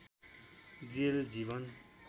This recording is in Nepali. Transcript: जेल जीवन